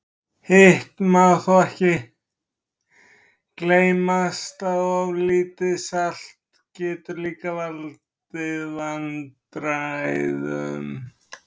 Hitt má þó ekki gleymast að of lítið salt getur líka valdið vandræðum.